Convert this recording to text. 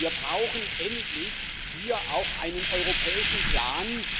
Wir brauchen endlich hier auch einen europäischen Plan.